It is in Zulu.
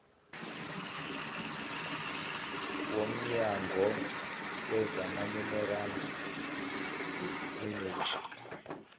womnyango wezamaminerali neeneji